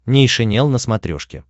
нейшенел на смотрешке